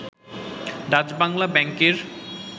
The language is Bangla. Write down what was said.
ডাচবাংলা ব্যাংকের